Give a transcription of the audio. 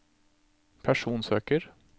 personsøker